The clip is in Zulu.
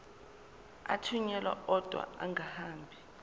athunyelwa odwa angahambi